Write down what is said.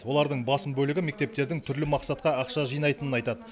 олардың басым бөлігі мектептердің түрлі мақсатқа ақша жинайтынын айтады